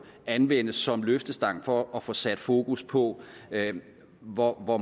anvendes som løftestang for at få sat fokus på hvor hvor